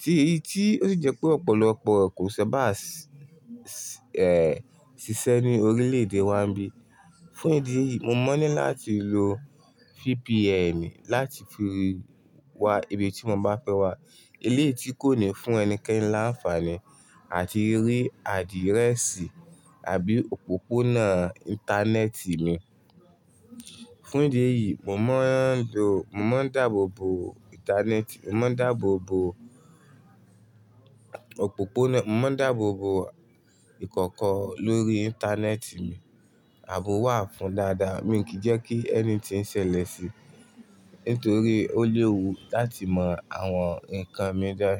tí ó sì jẹ́ pé ọ̀pọ̀lọpọ̀ kò sábà ṣiṣẹ́ ní orílẹ̀-èdè wa bí. Fún ìdí èyí, mo mọ̀ ní láti lo VPN láti fi wá ibi tí mo bá fẹ́ wá. Elééyí kò ní fún ẹnikẹ́ni láǹfààní àti rí adírẹ́sì àbí òpópónà Íńtánẹ́ẹ̀tì mi. Fún ìdí èyí, mo máa ń dáàbòbo ìkọ̀kọ̀ lórí Íńtánẹ́ẹ̀tì mi, ààbò wà fún dáadáa, mi kì í jẹ́ kí ẹni tí ń ṣẹlẹ̀ sí mi nítorí ó léwu láti mọ àwọn ǹkan mi dáé.